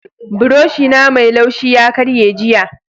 buroshi na Mai laushi ya karye jiya.